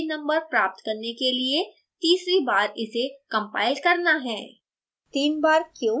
आपको सही page numbers प्राप्त करने के लिए तीसरी बार इसे compile करना है